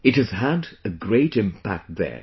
It has had a great impact there